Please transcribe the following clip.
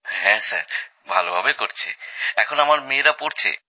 হ্যাঁ স্যার ভালোভাবে করছে এখন আমার মেয়েরা পড়ছে